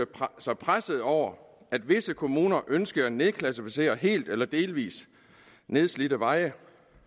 sig pressede over at visse kommuner ønsket at nedklassificere helt eller delvis nedslidte veje